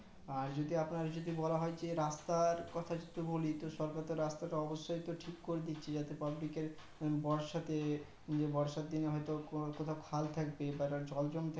আর যদি আপনার বলা হয় যদি যে রাস্তার কথা যদি বলি তো সরকার তো রাস্তা অবশ্যয় তো ঠিক করে দিচ্ছে জাতে public এর বর্ষাতে বর্ষার দিন হয়তো কোথাও খাল থাকবে বা জল জমতে